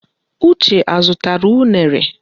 Uche azụtara unere?